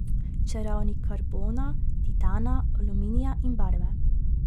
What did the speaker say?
Čarovnik karbona, titana, aluminija in barve.